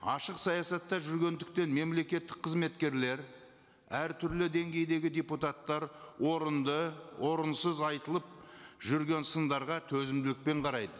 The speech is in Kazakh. ашық саясатта жүргендіктен мемлекеттік қызметкерлер әртүрлі деңгейдегі депутаттар орынды орынсыз айтылып жүрген сындарға төзімділікпен қарайды